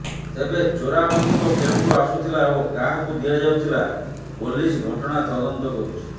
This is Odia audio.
ତେବେ ଚୋରା ବନ୍ଧୁକ କେଉଁଠୁ ଆସୁଥିଲା ଓ କାହାକୁ ଦିଆଯାଉଥିଲା ପୋଲିସ୍ ଘଟଣା ତଦନ୍ତ କରୁଛି